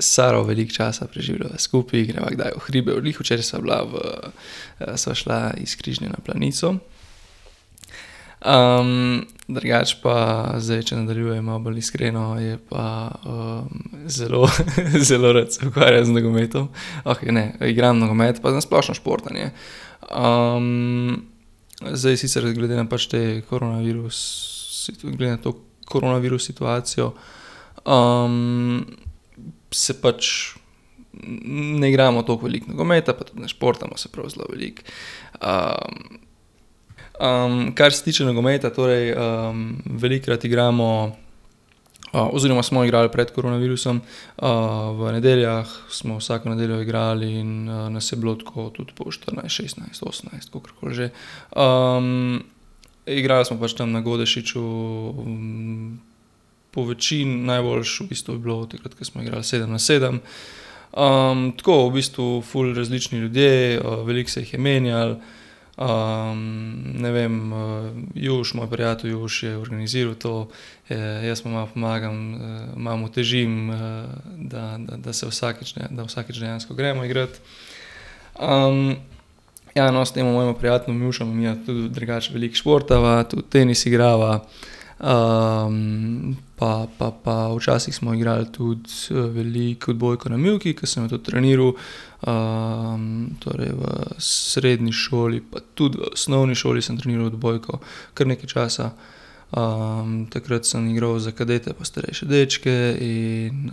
s Saro veliko časa preživljava skupaj, greva kdaj v hribe, glih včeraj sva bila v, sva šla iz Križne na Planico. drugače pa, zdaj če nadaljujmo bolj iskreno, je pa, zelo zelo rad se ukvarjam z nogometom. Okej, ne, igram nogomet pa na splošno športanje. zdaj sicer glede na pač to koronavirus koronavirus situacijo, se pač, ne igramo toliko veliko nogometa pa tudi ne športamo se prav zelo veliko. kar se tiče nogometa torej, velikokrat igramo, oziroma smo igrali pred koronavirusom, v nedeljah smo vsako nedeljo igrali in nas je bilo tako tudi po štirinajst, šestnajst, osemnajst, kakorkoli že. igral smo pač tam na Godešiču po večin najboljše v bistvu je bilo takrat, ko smo igrali sedem na sedem. tako v bistvu ful različni ljudje, veliko se jih je menjalo, ne vem, Juš, moj prijatelj Juš je organiziral to, jaz mu malo pomagam, malo mu težim, da, da, da se vsakič, ne, da vsakič dejansko gremo igrat. ja, no, s tem mojim prijateljem Jušem midva tudi drugače veliko športava, tudi tenis igrava. pa, pa, pa včasih smo igrali tudi, veliko odbojko na mivki, ke sem jo tudi treniral, torej v srednji šoli pa tudi v osnovni šoli sem treniral odbojko, kar nekaj časa. takrat sem igral za kadete pa starejše dečke in,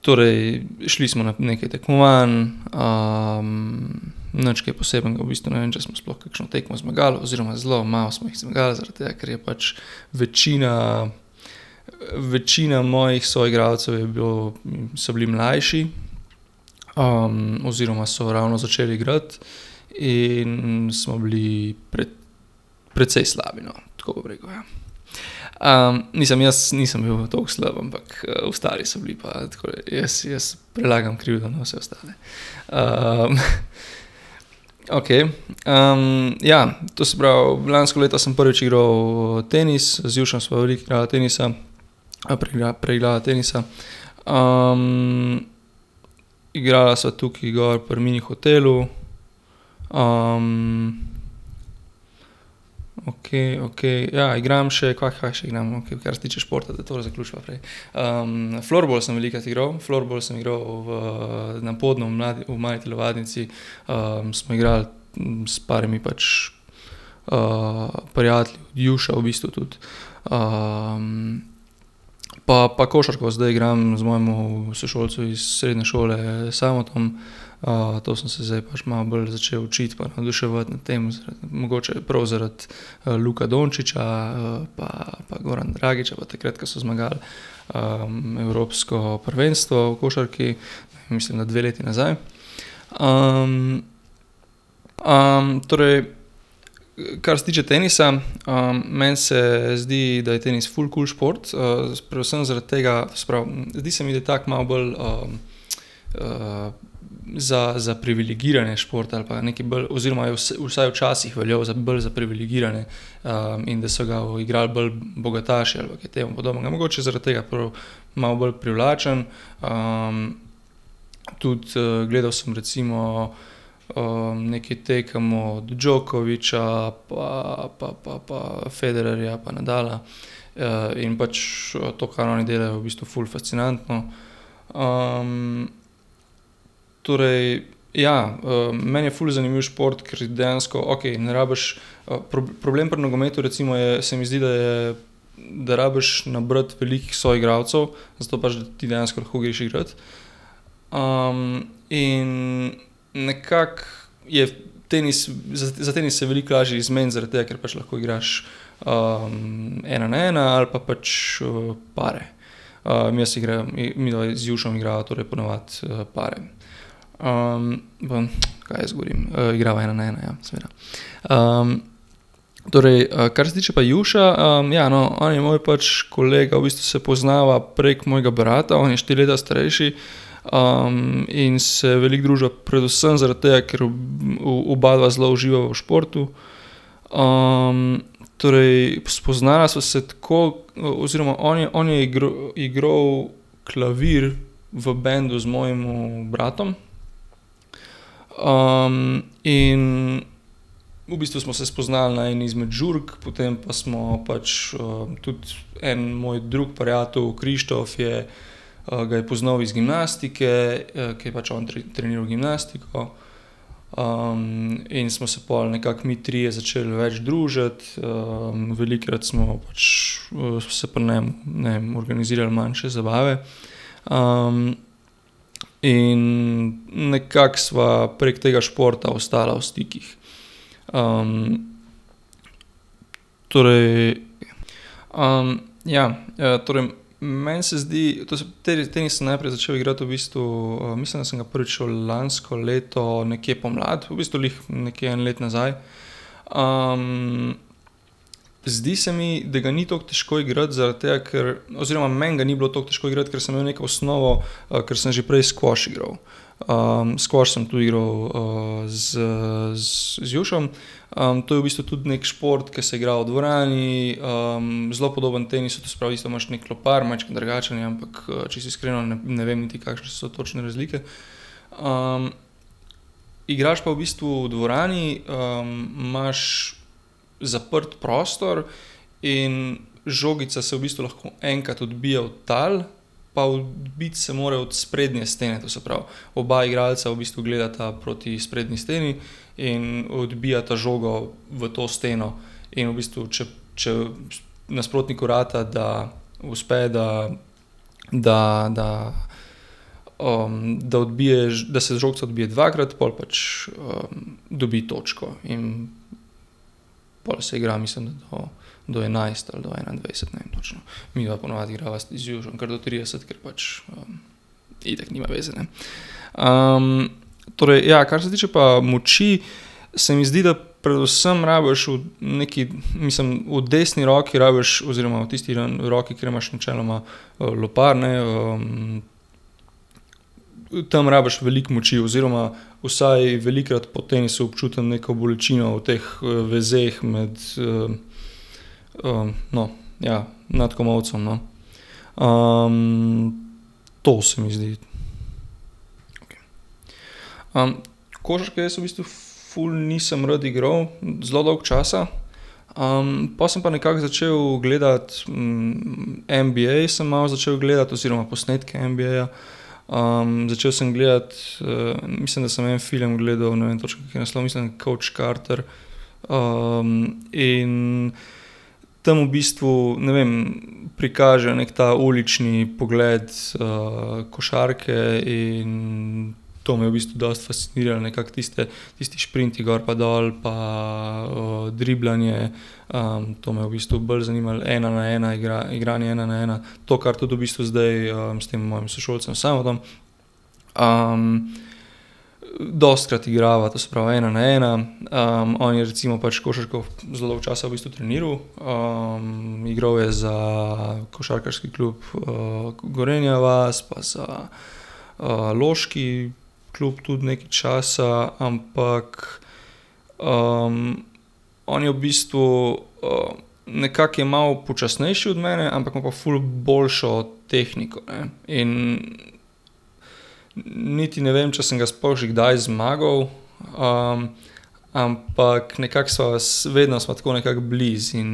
torej šli smo na nekaj tekmovanj, nič kaj posebnega, v bistvu ne vem, če smo sploh kakšno tekmo zmagali, oziroma zelo malo smo jih zmagal zaradi tega, ker je pač večina, večina mojih soigralcev je bilo, so bili mlajši. oziroma so ravno začeli igrati in smo bili precej slabi, no, tako bom rekel, ja. mislim jaz nisem bil tako slab, ampak, ostali so bili pa tako jaz, jaz, prelagam krivdo na vse ostale. okej, ja, to se pravi, lansko leto sem prvič igral tenis, z Jušem sva veliko igrala tenisa, preigrala tenisa. igrala sva tukaj gor pri Mini hotelu, Okej, okej, ja, igram še, kva, kaj še igram, okej, kar se tiče športa, da tole zaključiva prej. floorball sem velikokrat igral, floorball sem igral v na Podnu v v mali telovadnici, smo igrali s par pač, prijatelji od Juša v bistvu tudi, pa, pa košarko zdaj igram z mojim sošolcem iz srednje šole Samom. to sem se zdaj malo bolj začel učiti pa navduševati nad tem zaradi mogoče, prav zaradi, Luka Dončića, pa, pa Goran Dragića pa takrat, ke so zmagali, evropsko prvenstvo v košarki. Mislim, da dve leti nazaj, torej, kar se tiče tenisa, meni se zdi, da je tenis ful kul šport, predvsem zaradi tega, se pravi, zdi se mi, da je tako malo bolj, za, za privilegirane športe ali pa nekaj bolj, oziroma je vsaj včasih veljal za bolj za privilegirane, in da so ga igrali bolj bogataši ali pa kaj temu podobnega, mogoče zaradi tega prav malo bolj privlačen. tudi, gledal sem recimo, nekaj tekem od Đokovića pa, pa, pa pa Federerja pa Nadala, in pač, to, kar oni delajo, je v bistvu ful fascinantno. torej ja, meni je ful zanimiv šport, ker dejansko, okej, ne rabiš, problem pri nogometu recimo je, se mi zdi, da je, da rabiš nabrati veliko soigralcev, zato pač da ti dejansko lahko greš igrat. in nekako je tenis, za, za tenis se je veliko lažje zmeniti, zaradi tega, ker pač lahko igraš, ena na ena ali pa pač, pare. jaz igram, midva z Jušem igrava torej po navadi, pare. kaj jaz govorim, igrava ena na ena ja, seveda. torej, kar se tiče pa Juša, ja, no, on je moj pač kolega, v bistvu se poznava prek mojega brata, on je štiri leta starejši, in se veliko druživa predvsem zaradi tega, ker obadva zelo uživava v športu. torej spoznala sva se tako oziroma on je, on je igral klavir v bendu z mojim bratom. in v bistvu smo se spoznali na eni izmed žurk, potem pa smo pač, tudi en moj drug prijatelj Krištof je, ga je poznal iz gimnastike, ker je pač on treniral gimnastiko. in smo se pol nekako mi trije začeli več družiti, velikokrat smo pač, se pri njem, ne vem, organizirali manjše zabave. in nekako sva prek tega športa ostala v stikih. torej, ja, torej, meni se zdi, to se, tenis sem najprej začel igrati, v bistvu, mislim, da sem ga prvič šel lansko leto nekje pomlad, v bistvu glih nekje eno leto nazaj. zdi se mi, da ga ni toliko težko igrati zaradi tega, ker, oziroma meni ga ni bilo toliko težko igrati, ker sem imel neko osnovo, ker sem že prej skvoš igral. skvoš sem tudi igral z z Jušem. to je v bistvu tudi neki šport, ke se igra v dvorani, zelo podoben tenisu, to se pravi, isto imaš neki lopar, majčkeno drugačen je, ampak, čisto iskreno ne vem niti, kakšne so točne razlike. igraš pa v bistvu v dvorani, imaš zaprt prostor in žogica se v bistvu lahko enkrat odbije od tal pa odbiti se mora od sprednje stene, to se pravi, oba igralca v bistvu gledata proti sprednji steni in odbijata žogo v to steno. In v bistvu, če, če nasprotniku rata, da, uspe, da da, da, da odbiješ, da se žogica odbije dvakrat, pol pač dobi točko in pol se igra mislim, da do, do enajst ali do enaindvajset, ne vem točno. Midva po navadi igrava z Jušem kar do trideset, ker pač itak nima veze, ne. torej, ja, kar se tiče pa moči, se mi zdi, da predvsem rabiš v neki, mislim, v desni roki rabiš oziroma v tisti roki, kjer imaš načeloma, lopar, ne, tam rabiš veliko moči oziroma vsaj velikokrat po tenisu občutim neko bolečino v teh, vezeh med, no, ja, nad komolcem, no. to se mi zdi. Okej. košarke jaz v bistvu ful nisem rad igral, zelo dolgo časa, pol sem pa nekako začel gledati, NBA sem malo začel gledati oziroma posnetke NBA-ja. začel sem gledati, mislim, da sem en film gledal, ne vem točno, kak je naslov, mislim, da je Couch Carter, in tam v bistvu, ne vem, prikaže neki ta ulični pogled, košarke in to me je v bistvu dosti fasciniralo, ne, kako tiste, tisti šprinti gor pa dol pa, driblanje, to me je v bistvu bolj zanimalo, ena na ena igra, igranje ena na ena, to kar tudi v bistvu zdaj s tem mojem sošolcem Samom, dostikrat igrava, to se pravi ena na ena. on je recimo pač košarko zelo dolgo časa v bistvu treniral, igral je za košarkarski klub, Gorenja vas pa za, loški klub tudi nekaj časa. Ampak, on je v bistvu, nekako je malo počasnejši od mene, ampak ima pa ful boljšo tehniko, ne, in niti ne vem, če sem ga sploh že kdaj zmagal, ampak nekako sva vedno sva tako nekako blizu in,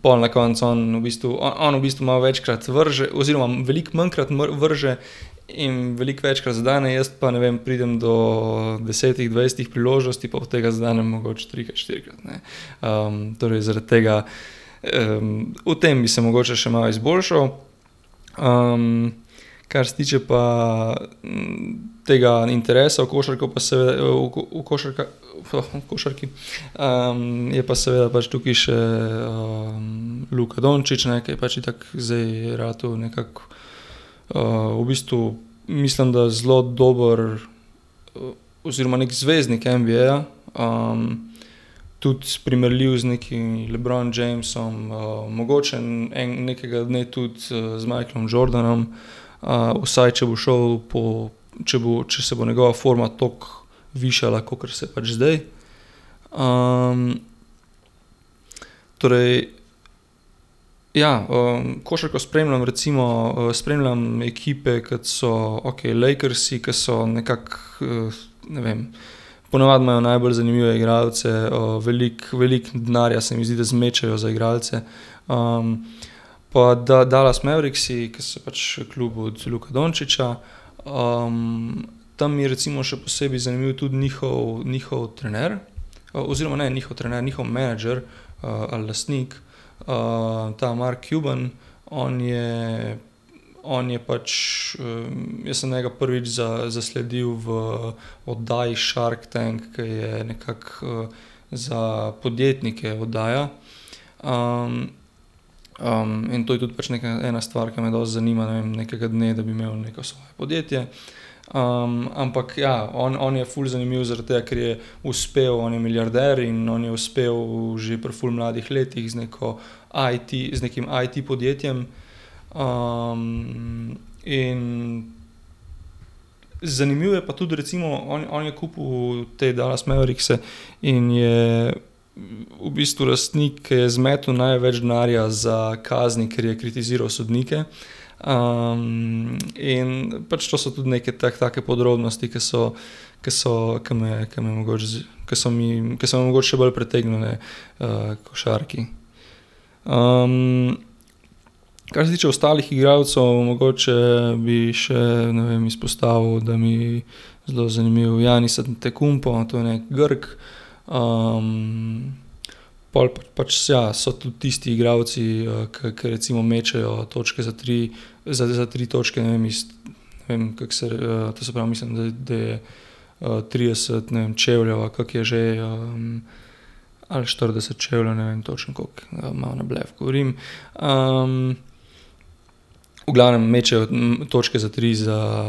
pol na koncu on v bistvu, on v bistvu malo večkrat vrže oziroma veliko manjkrat vrže in veliko večkrat zadene, jaz pa, ne vem, pridem do desetih, dvajsetih priložnosti pa od tega zadenem mogoče trikrat, štirikrat, ne. torej zaradi tega, v tem bi se mogoče še malo izboljšal. kar se tiče pa, tega interesa v košarko pa seveda košarka v košarki, je pa seveda tukaj še, Luka Dončić, ne, ki je pač itak zdaj ratal nekako, v bistvu mislim, da zelo dober oziroma neki zvezdnik NBA-ja, tudi primerljiv z nekimi Le Bron Jamesom, mogoče nekega dne tudi z Michaelom Jordanom, vsaj, če bo šel po, če bo, če se bo njegova forma tako višala, kakor se pač zdaj. torej ja, košarko spremljam recimo, spremljam ekipe, kot so, okej, Lakersi, ke so nekako, ne vem, po navadi imajo najbolj zanimive igralce, veliko, veliko denarja, se mi zdi, da zmečejo za igralce. pa Dallas Mavericksi, ke so pač klub od Luke Dončića. tam je recimo še posebej zanimiv tudi njihov, njihov trener. oziroma ne njihov trener, njihov menedžer, lastnik, ta Mark Cuban. On je, on je pač, jaz sem njega prvič zasledil v oddaji Shark Tank, ke je nekako, za podjetnike oddaja. in to je tudi pač neka ena stvar, ke me dosti zanima, ne vem, nekega dne, da bi imel neko svoje podjetje. ampak ja, on, on je ful zanimivo zaradi tega, ker je uspel, on je milijarder in on je uspel že pri ful mladih letih z neko IT, z nekim IT-podjetjem. in zanimivo je pa tudi recimo, on, on je kupil te Dallas Maverickse in je v bistvu lastnik, ke je zmetal največ denarja za kazni, ker je kritiziral sodnike. in pač to so tudi neke take podrobnosti, ke so, ke so, ke me, ke me mogoče, ke so mi, ke so me mogoče še bolj pritegnile, h košarki. kar se tiče ostalih igralcev mogoče bi še, ne vem, izpostavil, da mi zelo zanimiv Giannis Antetokounmpo, to je neki Grk. pol pa pač, ja, so tudi tisti igralci, ke, ke recimo mečejo točke za tri za, za tri točne, ne vem, iz ne vem, kako se, to se pravi, mislim, da je, trideset, ne vem, čevljev ali kako je že, Ali štirideset čevljev, ne vem točno, koliko, malo na blef govorim. v glavnem mečejo točke za tri, za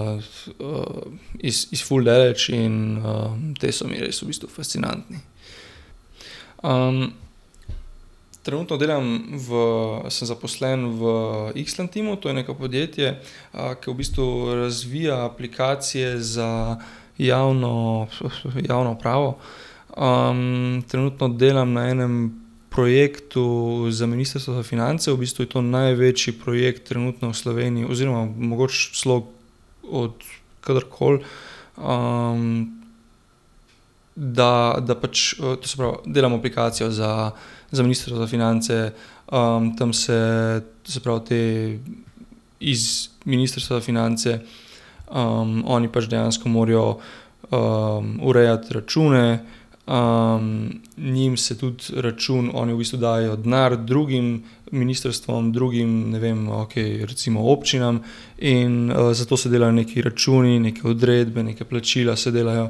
iz, iz ful daleč in, ti so mi res v bistvu fascinantni. trenutno delam v, sem zaposlen v Islantimu, to je neko podjetje, ke v bistvu razvija aplikacije za javno, javno upravo. trenutno delam na enem projektu za ministrstvo za finance, v bistvu je to največji projekt trenutno v Sloveniji oziroma mogoče celo od koderkoli. da, da pač, to se pravi, delam aplikacijo za, za ministrstvo za finance. tam se, to se pravi ti iz ministrstva za finance, oni pač dejansko morajo, urejati račune, njim se tudi račun, oni v bistvu dajejo denar drugim ministrstvom, drugim, ne vem, okej, recimo občinam in, zato se delajo neki računi, neke odredbe, neka plačila se delajo,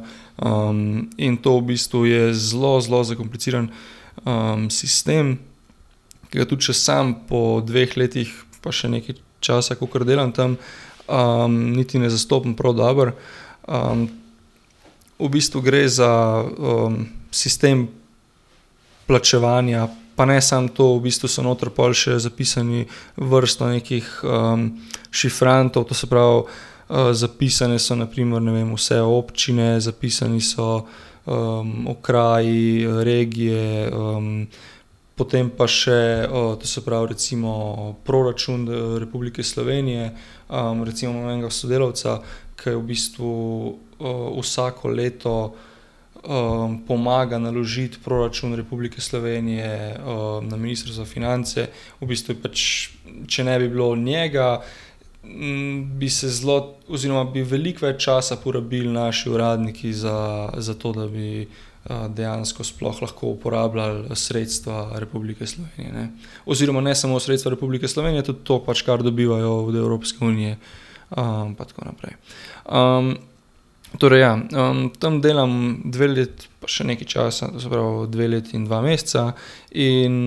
in to v bistvu je zelo, zelo zakompliciran, sistem. Ki ga tudi še samo po dveh letih pa še nekaj časa, kakor delam tam, niti ne zastopim prav dobro. v bistvu gre za, sistem plačevanja, pa ne samo to, v bistvu so noter pol še zapisani vrsto nekih, šifrantov, to se pravi, zapisane so na primer, ne vem, vse občine, zapisani so, okraji, regije, Potem pa še, to se pravi, recimo proračun Republike Slovenije. recimo imam enega sodelavca, ke je v bistvu, vsako leto, pomaga naložiti proračun Republike Slovenije, na ministrstvo za finance. V bistvu je pač, če ne bi bilo njega, bi se zelo oziroma bi veliko več časa porabili naši uradniki, za, zato da bi dobili, dejansko sploh lahko uporabljali, sredstva Republike Slovenije, ne. Oziroma ne samo sredstva Republike Slovenije, tudi to, kar dobivajo od Evropske unije. pa tako naprej. torej, ja, tam delam dve leti pa še nekaj časa, to se pravi dve leti in dva meseca in,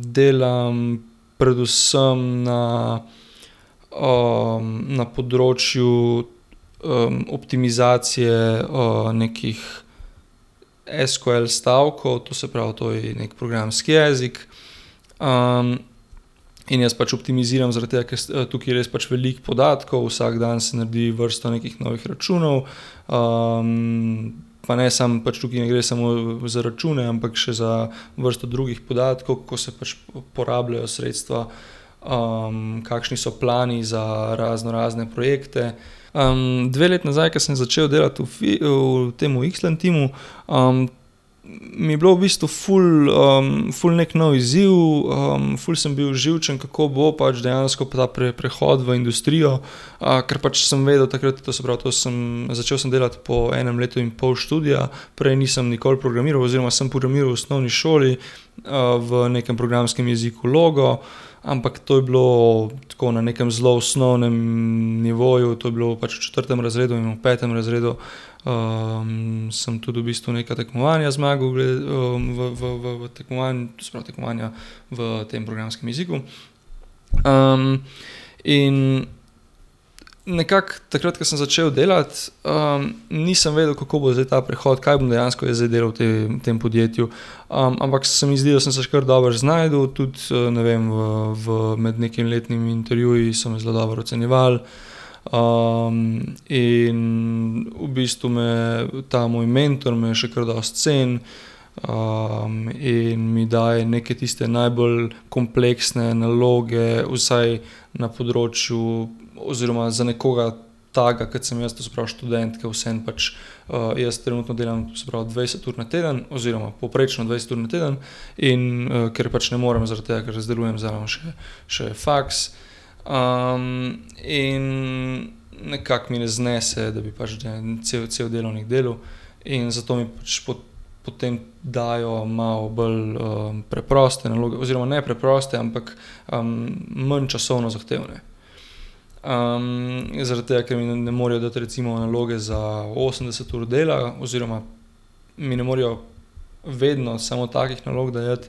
delam predvsem na, na področju, optimizacije, nekih SQL-stavkov, to se pravi, to je neki programski jezik, in jaz pač optimiziram, zaradi tega ker tukaj je res pač veliko podatkov, vsak dan se naredi vrsto nekih novih računov, pa ne samo pač tukaj, ne gre samo za račune, ampak še za vrsto drugih podatkov, ko se pač porabljajo sredstva. kakšni so plani za raznorazne projekte. dve leti nazaj, ke sem začel delati v v tem, Ikslantimu, mi je bilo v bistvu ful, ful neki nov izziv, ful sem bil živčen, kako bo, pač dejansko ta prehod v industrijo, ker pač sem vedel takrat, to se pravi, to sem, začel sem delati po enem letu in pol študija, prej nisem nikoli programiral oziroma sem programiral v osnovni šoli, v nekem programskem jeziku Logo, ampak to je bilo tako na nekem zelo osnovnem nivoju, to je bilo v pač četrtem razredu in v petem razredu. sem tudi v bistvu neka tekmovanja zmagal v, v, v, v se pravi, tekmovanja v tem programskem jeziku. in nekako takrat, ko sem začel delati, nisem vedel, kako bo zdaj ta prehod, kaj bom dejansko jaz zdaj delal v tem, tem podjetju. ampak se mi zdi, da sem se še kar dobro znašel tudi, ne vem, v med nekimi letnimi intervjuji so me zelo dobro ocenjevali, in v bistvu me ta moj mentor me še kar dosti ceni, in mi daje neke tiste najbolj kompleksne naloge, vsaj na področju oziroma za nekoga, takega, ke sem jaz, to se pravi študent, ke vseeno pač, jaz trenutno delam, to se pravi dvajset ur na teden oziroma povprečno dvajset ur na teden, in, ker pač ne morem, zaradi tega ker zdelujem zraven še, še faks, in nekako mi ne znese, da bi pač cel cel delavnik delal in zato mi pač potem dajo malo bolj, preproste naloge oziroma ne preproste, ampak, manj časovno zahtevne. zaradi tega, ker mi ne morejo dati recimo naloge za osemdeset ur dela oziroma mi ne morejo vedno samo takih nalog dajati,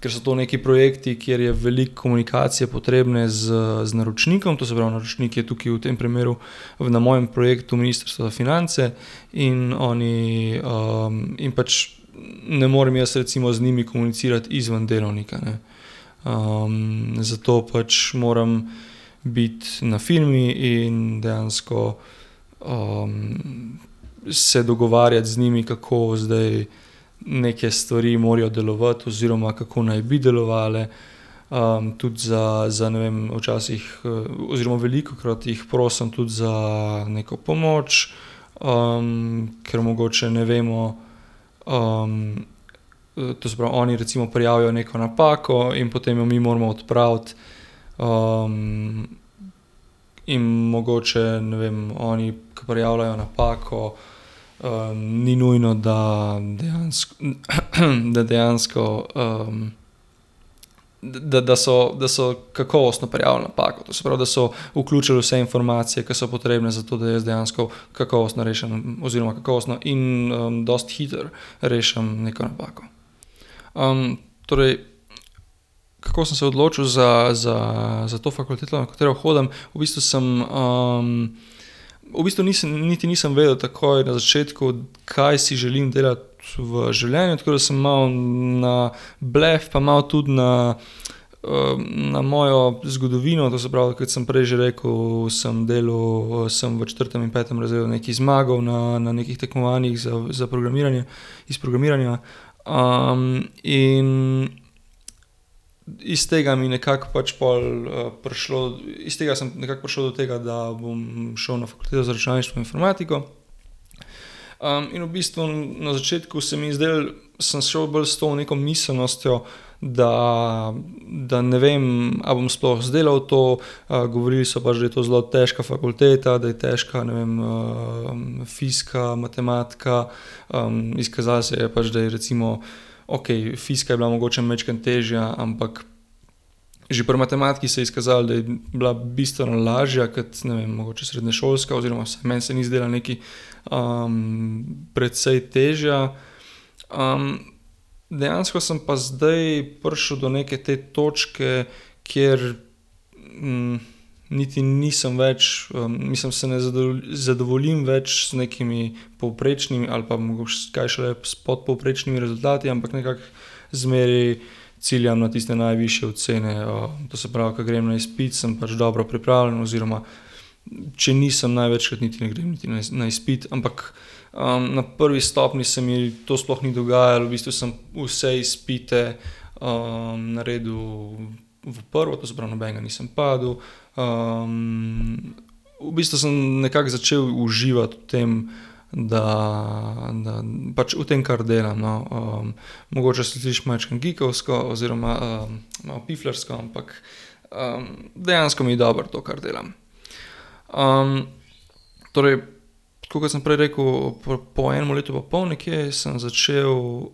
ker so to nekaj projekti, kjer je veliko komunikacije potrebne z, z naročnikom, to se pravi, naročnik je tukaj v tem primeru, v na mojem projektu ministrstvo za finance in oni, in pač ne morem jaz recimo z njimi komunicirati izven delavnika, ne. zato pač moram biti na firmi in dejansko, se dogovarjati z njimi, kako zdaj neke stvari morajo delovati oziroma, kako naj bi delovale. tudi za, za, ne vem, včasih oziroma velikokrat jih prosim tudi za neko pomoč, ker mogoče ne vemo, to se pravi oni recimo prijavijo neko napako in potem jo mi moramo odpraviti, in mogoče, ne vem, oni, ki prijavljajo napako, ni nujno, da dejansko , da dejansko, da, da, da so kakovostno prijavili napako, to se pravi, da so vključili vse informacije, ki so potrebne, za to da jaz dejansko kakovostno rešim oziroma kakovostno in, dosti hitro rešim neko napako. torej, kako sem se odločil za, za, za to fakulteto, na katero hodim. V bistvu sem, v bistvu nisem niti nisem vedel takoj na začetku, kaj si želim delati v življenju, tako da sem malo na blef pa malo tudi na, na mojo zgodovino, to se pravi, kot sem prej že rekel, sem delal, sem v četrtem in petem razredu nekaj zmagal na, na nekih tekmovanjih za, za programiranje, iz programiranja. in iz tega mi nekako pač pol, prišlo, iz tega sem nekako prišel do tega, da bom šel na fakulteto za računalništvo in informatiko. in v bistvu na začetku se mi je zdelo, sem šel bolj s to neko miselnostjo, da, da, ne vem, a bom sploh izdelal to, govorili so pač, da je to zelo težka fakulteta, da je težka, ne vem, fizika, matematika. izkazalo se je pač, da je recimo okej, fizika je bila mogoče majčkeno težja, ampak že pri matematiki se je izkazalo, da je bila bistveno lažja, kot, ne vem, mogoče srednješolska oziroma vsaj meni se ni zdela nekaj, precej težja. dejansko sem pa zdaj prišel do neke te točke, kjer, niti nisem več, mislim se ne zadovoljim več z nekimi povprečnimi ali pa mogoče, kaj šele s podpovprečnimi rezultati, ampak nekako zmeraj ciljam na tiste najvišje ocene, to se pravi, ke grem na izpit, sem pač dobro pripravljen, oziroma če nisem, največkrat niti ne grem niti na izpit, ampak, na prvi stopnji se mi to sploh ni dogajalo, v bistvu sem vse izpite, naredil v prvo, to se pravi nobenega nisem padel. v bistvu sem nekako začel uživati v tem, da, da, da pač v tem, kar delam, no. mogoče se sliši majčkeno geekovsko oziroma, piflarsko, ampak, dejansko mi je dobro to, kar delam. torej, tako kot sem prej rekel, po enem letu pa pol nekje sem začel,